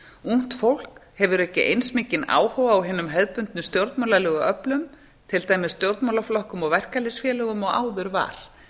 ungt fólk hefur ekki eins mikinn áhuga á hinum hefðbundnu stjórnmálalegu öflum til dæmis stjórnmálaflokkum og verkalýðsfélögum og áður var